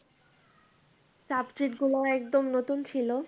subject গুলো একদম নতুন ছিল।